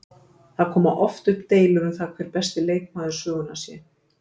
Það koma oft upp deilur um það hver besti leikmaður sögunnar sé.